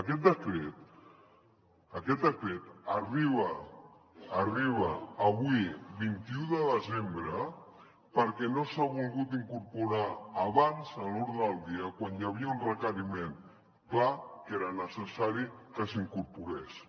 aquest decret aquest decret arriba arriba avui vint un de desembre perquè no s’ha volgut incorporar abans a l’ordre del dia quan hi havia un requeriment clar que era necessari que s’incorporés